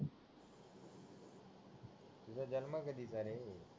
पुरा जालना बघितला रे